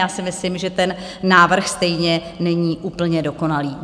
Já si myslím, že ten návrh stejně není úplně dokonalý.